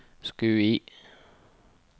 Skui